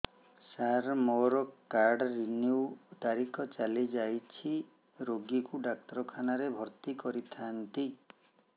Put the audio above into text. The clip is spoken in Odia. ସାର ମୋର କାର୍ଡ ରିନିଉ ତାରିଖ ଚାଲି ଯାଇଛି ରୋଗୀକୁ ଡାକ୍ତରଖାନା ରେ ଭର୍ତି କରିଥାନ୍ତି